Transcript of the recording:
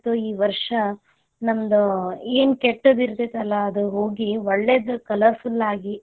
ಈ ವರ್ಷಾ ನಮ್ದ್ ಏನ್ ಕೆಟ್ಟದಿರತೆತಿ ಅಲ, ಅದ್ ಹೋಗಿ ಒಳ್ಳೆದ್ colourful ಆಗಿ.